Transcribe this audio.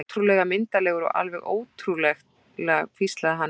Ótrúlega myndarlegur, alveg ótrúlega hvíslaði hann hrifinn.